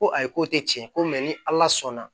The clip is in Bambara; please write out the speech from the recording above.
Ko ayi k'o tɛ tiɲɛ ye ko ni ala sɔnna